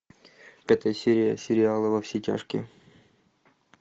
пятая серия сериала во все тяжкие